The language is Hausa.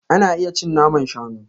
Ana iya cin naman shanu.